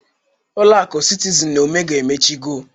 Ụlọ akụ sitizinz na omega emechigo.